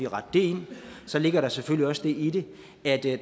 rette ind så ligger der selvfølgelig også det i det at